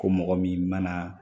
Ko mɔgɔ min mana